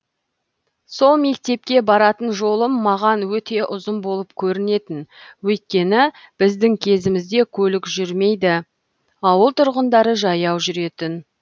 сол мектепке баратын жолым маған өте ұзын болып көрінетін өйткені біздің кезімізде көлік жүрмейді ауыл тұрғындары жаяу жүретін